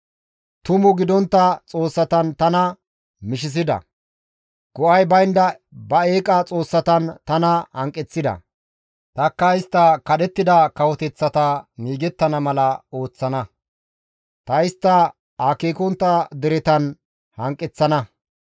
Tumu gidontta xoossatan tana mishisida; go7ay baynda ba eeqa xoossatan tana hanqeththida. Tanikka istta kadhettida kawoteththata istti miigettana mala ooththana. Ta istta akeekontta deretan hanqeththana.